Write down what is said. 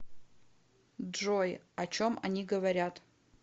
джой о чем они говорят